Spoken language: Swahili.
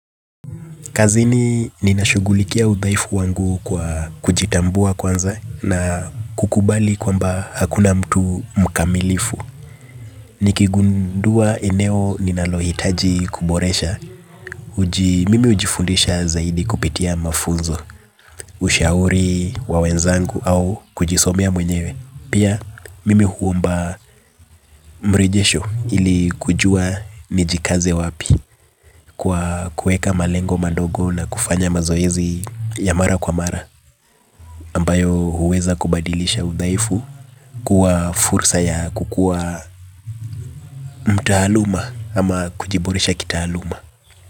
Kazini ninashugulikia udhaifu wangu kwa kujitambua kwanza na kukubali kwamba hakuna mtu mkamilifu. Nikigundua eneo ninalohitaji kuboresha. Mimi hujifundisha zaidi kupitia mafunzo, ushauri wa wenzangu au kujisomea mwenyewe. Pia mimi huomba mrejesho ili kujua nijikaze wapi kwa kuweka malengo madogo na kufanya mazoezi ya mara kwa mara. Ambayo huweza kubadilisha udhaifu kuwa fursa ya kukuwa mtaaluma ama kujiboresha kitaaluma.